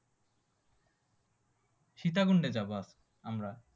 সীতাকুণ্ডে যাবো আমরা।